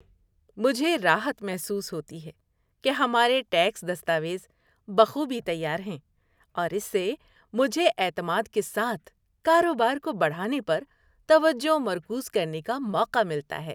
مجھے راحت محسوس ہوتی ہے کہ ہمارے ٹیکس دستاویز بخوبی تیار ہیں، اور اس سے مجھے اعتماد کے ساتھ کاروبار کو بڑھانے پر توجہ مرکوز کرنے کا موقع ملتا ہے۔